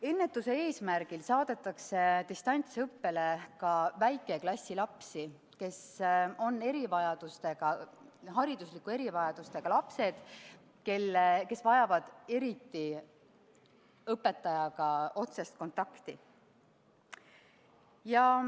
Ennetuse eesmärgil saadetakse distantsõppele ka väikeklassi lapsi – neid, kes on haridusliku erivajadusega ja kes eriti vajavad õpetajaga otsest kontakti.